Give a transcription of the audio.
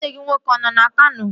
Nwanne gị nwoke ọ nọ na Kano?